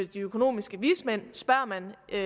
de økonomiske vismænd spørger man et